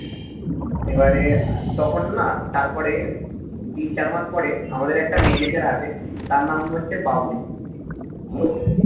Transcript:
এবারে তখন না তারপরে তিন চার মাস পরে আমাদের একটা manager আসে তার নাম হচ্ছে বাবুল তো